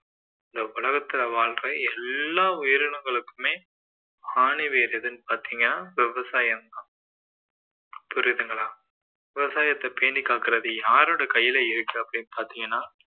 இந்த உலகத்துல வாழ்ற எல்லா உயிரினங்களுக்குமே ஆணிவேர் எதுன்னு பார்த்தீங்கன்னா விவசாயம் தான் புரியுதுங்களா விவசாயத்தை பேணி காக்குறது யாருடைய கையில் இருக்கு அப்படின்னு பாத்தீங்கன்னா